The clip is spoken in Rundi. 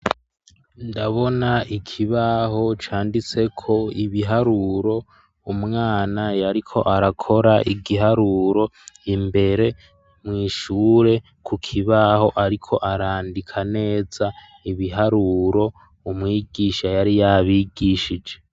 ndabona ikibaho canditse ko ibiharuro umwana yariko arakora igiharuro imbere mwishure ku kibaho ariko arandika neza ibiharuro umwigisha yari yabigishije